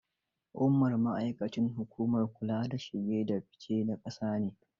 Umar ma'aikacin hukumar kula da shige da fice na ƙasa ne.